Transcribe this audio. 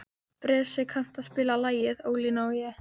Bresi, kanntu að spila lagið „Ólína og ég“?